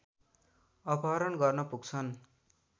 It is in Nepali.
अपहरण गर्न पुग्छन्